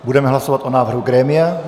Budeme hlasovat o návrhu grémia.